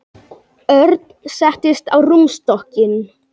Örn settist á rúmstokkinn.